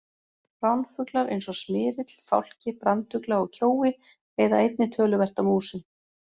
Ránfuglar eins og smyrill, fálki, brandugla og kjói veiða einnig töluvert af músum.